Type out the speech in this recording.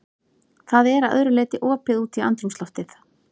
Það er að öðru leyti opið út í andrúmsloftið.